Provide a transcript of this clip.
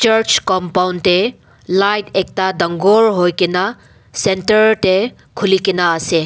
church compound teh light ekta dangor hoi ke na centre teh khuli ke na ase.